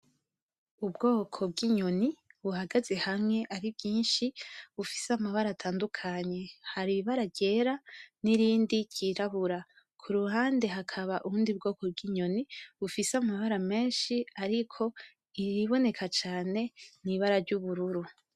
Ubwoko bw'inyoni buhagaze hamwe ari bwinshik bufise amabara atandukanye, hari ibara ryera n'irindi ry'irabura , kuruhande hakaba ubundi bwoko bw'inyoni bufise amabara menshi ariko iyiboneka cane n'ibara ry'ubururu.